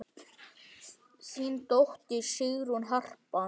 Þín dóttir, Sigrún Harpa.